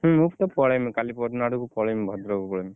ମୁଁ ତ ପଳେଇମି କାଲି ପହରଦିନ ଆଡକୁ ପଳେଇମି ଭଦ୍ରକ ପଳେଇମି।